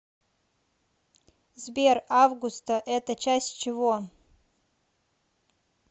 сбер августа это часть чего